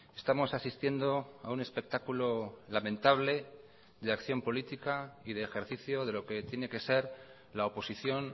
estamos asistiendo a un espectáculo lamentable de acción política y de ejercicio de lo que tiene que ser la oposición